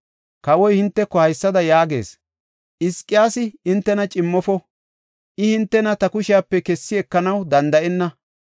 Kawoy hinteko haysada yaagees; ‘Hizqiyaasi hintena cimmofo; I hintena ta kushepe kessi ekanaw danda7enna.